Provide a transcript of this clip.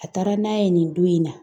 A taara n'a ye nin don in na.